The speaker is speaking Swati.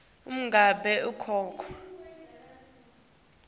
uma ngabe kukhona